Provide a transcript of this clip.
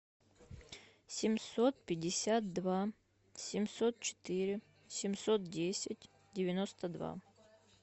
семьсот пятьдесят два семьсот четыре семьсот десять девяносто два